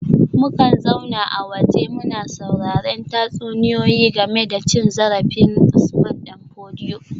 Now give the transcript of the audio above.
Mukan zauna a waje muna sauraren tatsuniyoyi game da cin zarafin Usman dan Fodio